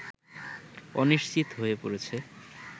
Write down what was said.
অনিশ্চিত হয়ে পড়েছে